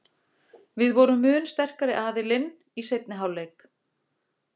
Við vorum mun sterkari aðilinn í seinni hálfleik.